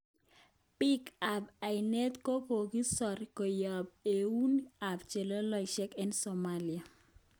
Bik kap ainet kokokisor koyob euneg kap chelesoshek eng Somalia.